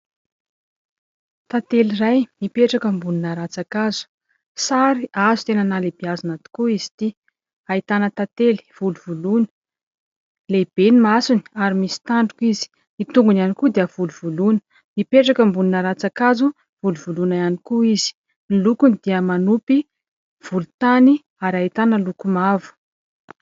Tantely iray mipetraka ambonina ratsankazo. Sary azo tena nahalehibiazina tokoa izy ity, ahitana tantely volovoloina, lehibe ny masony ary misy tandroka izy, ny tongony ihany koa dia volovoloina, mipetraka ambonina ratsankazo. Volovoloina ihany koa izy, ny lokony dia manopy volontany ary ahitana loko mavo.